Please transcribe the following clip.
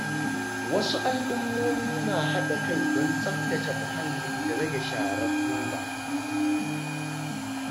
Wasu al’ummomi na haɗa kai don tsaftace muhalli da rage sharar roba.